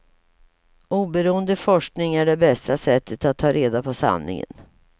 Oberoende forskning är det bästa sättet att ta reda på sanningen.